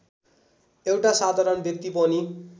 एउटा साधारण व्यक्ति पनि